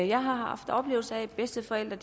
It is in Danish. jeg har haft oplevelser af at bedsteforældre